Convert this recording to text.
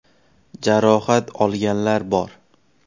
Jarohat olganlar bor.